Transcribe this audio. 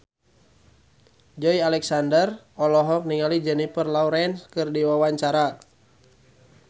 Joey Alexander olohok ningali Jennifer Lawrence keur diwawancara